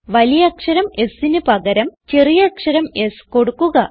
വലിയ അക്ഷരം Sന് പകരം ചെറിയ അക്ഷരം s കൊടുക്കുക